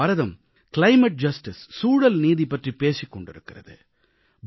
இன்று பாரதம் சூழல்நீதி கிளைமேட் ஜஸ்டிஸ் பற்றிப் பேசிக் கொண்டிருக்கிறது